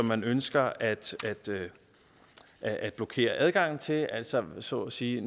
man ønsker at at blokere adgangen til altså så at sige